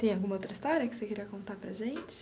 Tem alguma outra história que você queria contar para a gente?